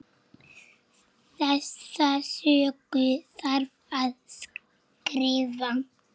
Þessa sögu þarf að skrifa.